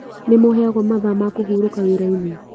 Nĩmũheagwo mathaa ma kũhurũka wĩrainĩ?